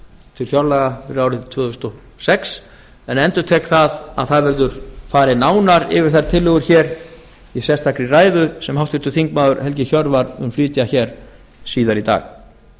til fjárlaga fyrir árið tvö þúsund og sex en endurtek að það eður farið nánar yfir þær tillögur hér í sérstakri ræðu sem háttvirtur þingmaður helgi hjörvar mun flytja hér síðar í dag